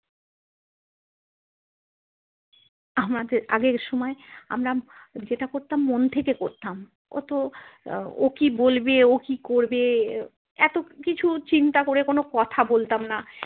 আমাদের আগের সময় আমরা যেটা করতাম মন থেকে করতাম অতো ও কি বলবে ও কি করবে এতো কিছু চিন্তা করে কোনো কথা বলতাম না।